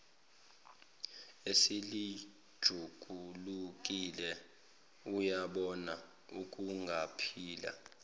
eselijulukile uyabona akungaphinde